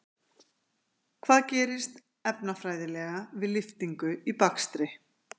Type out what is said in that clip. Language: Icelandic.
Hvað gerist, efnafræðilega, við lyftingu í bakstri?